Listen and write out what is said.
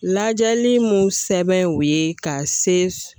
Lajɛli mun sɛbɛn o ye ka se